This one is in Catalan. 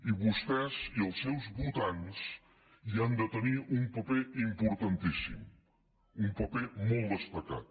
i vostès i els seus votants hi han de tenir un paper importantíssim un paper molt destacat